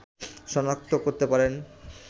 শনাক্ত করতে পারেন